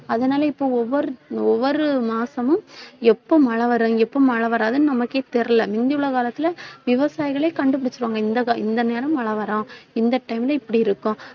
அதனால இப்ப ஒவ்வொர்~ ஒவ்வொரு மாசமும் எப்போ மழை வரும், எப்போ மழை வராதுன்னு நமக்கே தெரியல முந்தி உள்ள காலத்திலே விவசாயிகளே கண்டுபிடிச்சிடுவாங்க இந்த இந்த நேரம் மழை வரும் இந்த time லே இப்படி இருக்கும்